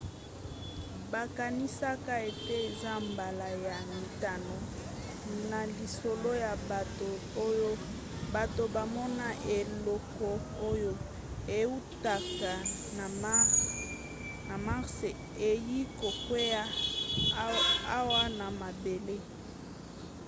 bakanisaka ete eza mbala ya mitano na lisolo ya bato oyo bato bamona eloko oyo eutaka na mars eyei kokwea awa na mabele